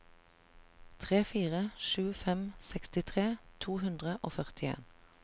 tre fire sju fem sekstitre to hundre og førtien